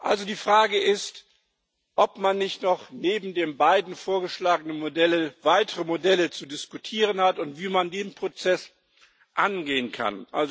Also die Frage ist, ob man nicht noch neben den beiden vorgeschlagenen Modellen weitere Modelle zu diskutieren hat und wie man den Prozess angehen kann.